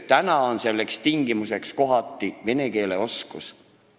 Praegu on kohati töö saamise tingimuseks vene keele oskus.